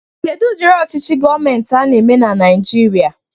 Kedu udiri ọchichi gọmentị ana-eme na naijiria?